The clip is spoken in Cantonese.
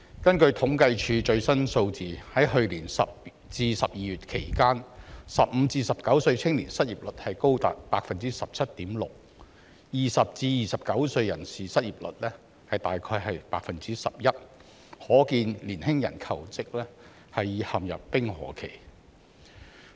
根據政府統計處最新數字，在去年10月至12月期間 ，15 歲至19歲青年失業率高達 17.6%， 而20歲至29歲人士失業率約 11%， 可見年輕人求職陷入冰河期。